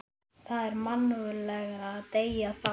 Það er mannúðlegra að deyða þá.